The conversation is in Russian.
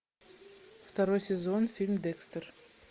второй сезон фильм декстер